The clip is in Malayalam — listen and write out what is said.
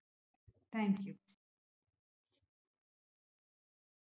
thank you